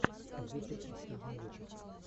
зиппер последний выпуск